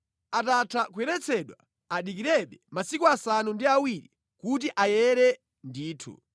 Atatha kuyeretsedwa adikirebe masiku asanu ndi awiri kuti ayere ndithu.